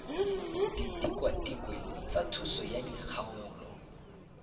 ditikwatikwe tsa thuso tsa dikgaolo